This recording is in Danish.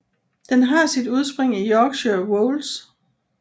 Den har sit udspring i Yorkshire Wolds